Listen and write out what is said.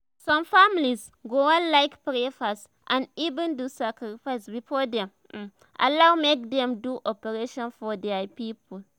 some families go wan like pray fast and even do sacrifice before dem um allow make dem do operation for dia people